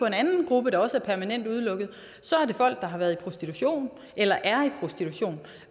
en anden gruppe der også er permanent udelukket er folk der har været i prostitution eller er i prostitution